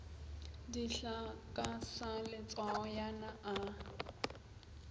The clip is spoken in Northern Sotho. dihlaa ka sa letswayana a